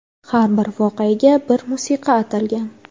Har bir voqeaga bir musiqa "atalgan".